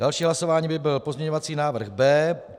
Další hlasování by byl pozměňovací návrh B.